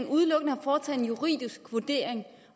udelukkende har foretaget en juridisk vurdering